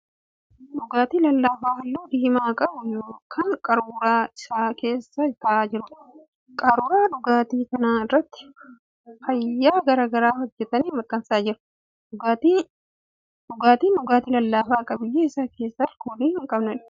Dhugaatii lallaafaa halluu diimaa qabu kan qaruuraa isaa keessa ta'aa jiruudha. Qaruuraa dhugaatii kanaa irratti faayya garaa garaa hojjetanii maxxansanii jiru. Dhugaatiin dhugaatii lallaafaa qabiyyee isaa keessaa alkoolii hin qabneedha.